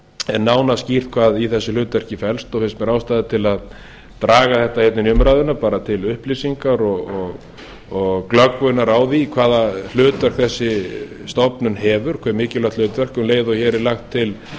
er nánar skýrt hvað í þessu hlutverki felst og fyllsta ástæða til að draga þetta bara inn í umræðuna til upplýsingar og glöggvunar á því hve mikilvægt hlutverk þessi stofnun hefur um leið og hér er lagt til